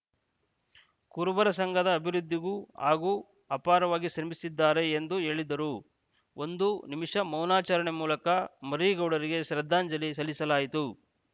ಕುರುಬರ ಸಂಘದ ಅಭಿವೃದ್ಧಿಗೂ ಹಾಗು ಅಪಾರವಾಗಿ ಶ್ರಮಿಸಿದ್ದಾರೆ ಎಂದು ಹೇಳಿದರು ಒಂದು ನಿಮಿಷ ಮೌನಾಚರಣೆ ಮೂಲಕ ಮರೀಗೌಡರಿಗೆ ಶ್ರದ್ಧಾಂಜಲಿ ಸಲ್ಲಿಸಲಾಯಿತು